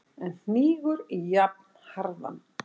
en hnígur jafnharðan.